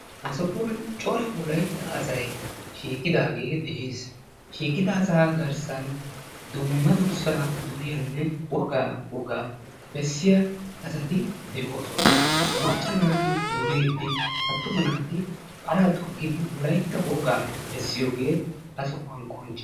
Ha sohuwan cora wolaytta asayi shiiqidaage de"es. Shiiqida asaa garssan dumma durssaa duriyanne wogaa wogaa bessiya asati de"oosona. Macca naati duriiddi attuma naati paraa toggidi wolaytta wogaa bessiyogee ha sohuwan qoncce.